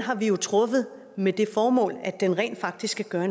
har vi truffet med det formål at den rent faktisk skal gøre